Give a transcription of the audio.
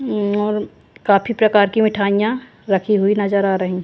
अं और काफी प्रकार की मिठाइयां रखी हुई नजर आ रही--